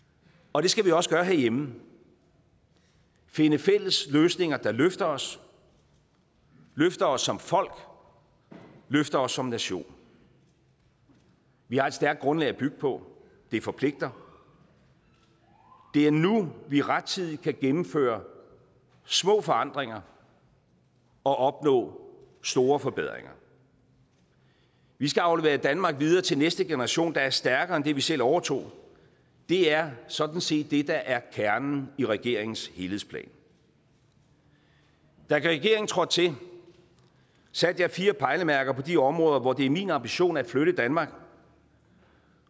og det skal vi også gøre herhjemme finde fælles løsninger der løfter os løfter os som folk løfter os som nation vi har et stærkt grundlag at bygge på det forpligter det er nu vi rettidigt kan gennemføre små forandringer og opnå store forbedringer vi skal aflevere et danmark videre til næste generation der er stærkere end det vi selv overtog det er sådan set det der er kernen i regeringens helhedsplan da regeringen trådte til satte jeg fire pejlemærker på de områder hvor det er min ambition at flytte danmark